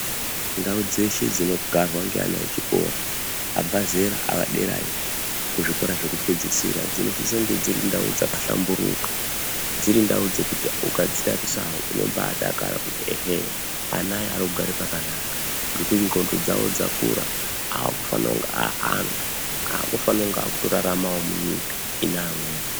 Ndau dzeshe dzinogarwa ngeana echikora abva zera aaderayo kuzvikora zvekupedzisira dzinosisa kunge dzirindau dzakahlamburuka, dzirindau dzekuti ukadzitarisawo unombaadakara kuti ehee, anaya arikugara pakanaka ngekuti ndxondo dzavo dzakura, akufana kunga aantu aakufana kunge akutoraramawo munyika inamweni.